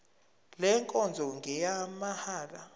le nkonzo ngeyamahala